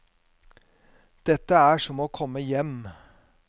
Dette er som å komme hjem.